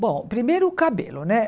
Bom, primeiro o cabelo, né?